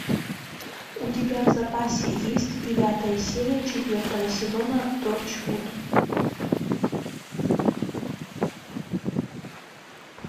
у тебя в запасе есть девятая серия четвертого сезона торчвуд